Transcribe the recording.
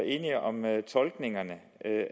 enige om tolkningerne